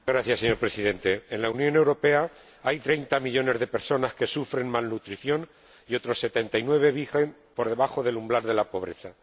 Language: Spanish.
Señor Presidente, en la Unión Europea hay 30 millones de personas que sufren malnutrición y otros 79 millones viven por debajo del umbral de la pobreza.